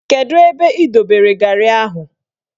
Kedu ebe ị dobere garị ahụ?